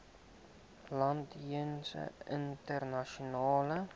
land jeens internasionale